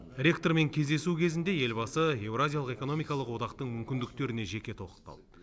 ректормен кездесу кезінде елбасы еуразиялық экономикалық одақтың мүмкіндіктеріне жеке тоқталды